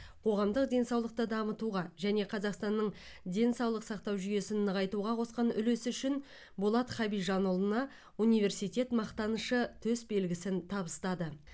қоғамдық денсаулықты дамытуға және қазақстанның денсаулық сақтау жүйесін нығайтуға қосқан үлесі үшін болат хабижанұлына университет мақтанышы төсбелгісін табыстады